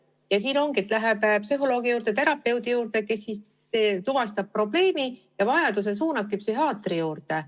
Ja ongi nii, et ta läheb psühholoogi või terapeudi juurde, kes tuvastab probleemi ja vajaduse korral suunab ta psühhiaatri juurde.